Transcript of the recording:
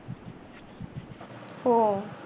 हो.